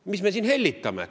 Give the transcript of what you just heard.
Mis me siin hellitame?